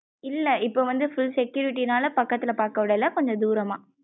இல்ல இபோ வந்து full security நாள பக்கத்தல பாக்க விடல கொஞ்சம் தூரம்மா.